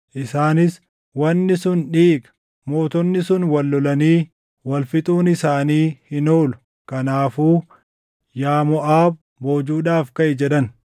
Isaanis, “Wanni sun dhiiga! Mootonni sun wal lolanii wal fixuun isaanii hin oolu. Kanaafuu yaa Moʼaab boojuudhaaf kaʼi!” jedhan.